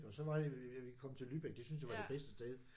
Og så var vi vi kom til Lübeck det syntes jeg var det bedste sted